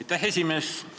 Aitäh, esimees!